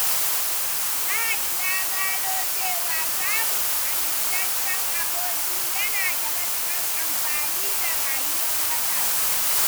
Fahad ya gano cewa samun amintaccen aboki yana da matukar amfani ga rayuwar matasa.